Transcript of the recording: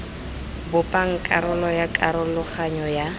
bopang karolo ya karologanyo ya